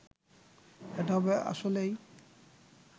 এটা হবে আসলেই